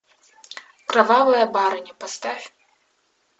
кровавая барыня поставь